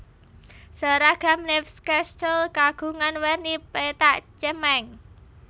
Seragam Newcastle kagungan werni pethak cemeng